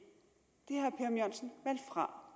har